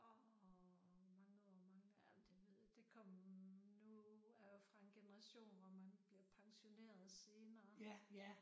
Åh hvor mange år mangler jeg men det ved det kom nu er jeg jo fra en generation hvor man bliver pensioneret senere